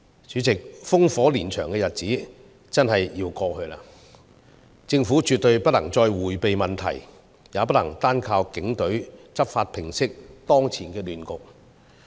主席，烽火連場的日子真的要過去，政府絕對不能再迴避問題，也不能單靠警隊執法平息當前的亂局。